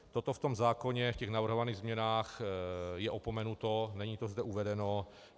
Toto v tom zákoně v těch navrhovaných změnách je opomenuto, není to zde uvedeno.